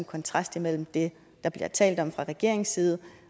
kontrast imellem det der bliver talt om fra regeringens side